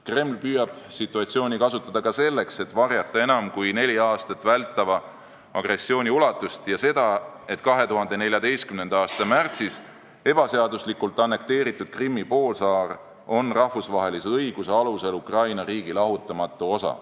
Kreml püüab situatsiooni kasutada ka selleks, et varjata enam kui neli aastat vältava agressiooni ulatust ja seda, et 2014. aasta märtsis ebaseaduslikult annekteeritud Krimmi poolsaar on rahvusvahelise õiguse alusel Ukraina riigi lahutamatu osa.